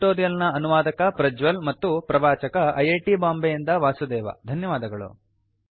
ಈ ಟ್ಯುಟೋರಿಯಲ್ ನ ಅನುವಾದಕ ಪ್ರಜ್ವಲ್ ಮತ್ತು ಪ್ರವಾಚಕ ಐಐಟಿ ಬಾಂಬೆಯಿಂದ ವಾಸುದೇವ ಧನ್ಯವಾದಗಳು